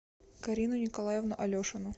карину николаевну алешину